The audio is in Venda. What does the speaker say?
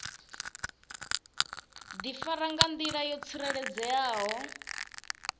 difara nga ndila yo tsireledzeaho